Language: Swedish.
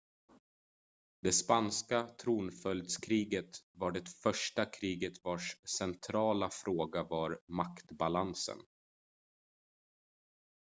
det spanska tronföljdskriget var det första kriget vars centrala fråga var maktbalansen